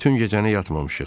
Bütün gecəni yatmamışıq.